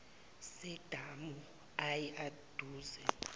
sedamu ayi aduze